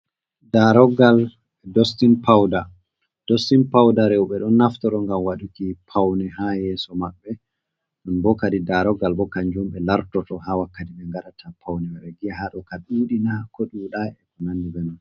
Dostin pouda rewɓe ɗon naftoro ngam wadɗuki paune, ha yeso maɓɓe ɗon bo kadi, daroggal bo kanjum ɓe lartoto ha wakkati be ngaɗata paune e ɓe giya hado ka dudina ko dudai e ko nandi bemai.